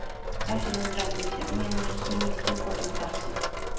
афина здравствуйте мне нужно сменить пин код на карте